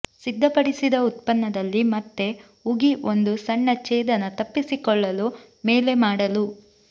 ಸಿದ್ಧಪಡಿಸಿದ ಉತ್ಪನ್ನದಲ್ಲಿ ಮತ್ತೆ ಉಗಿ ಒಂದು ಸಣ್ಣ ಛೇದನ ತಪ್ಪಿಸಿಕೊಳ್ಳಲು ಮೇಲೆ ಮಾಡಲು